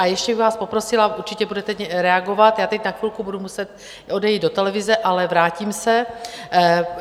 A ještě bych vás poprosila - určitě budete reagovat, já teď na chvilku budu muset odejít do televize, ale vrátím se.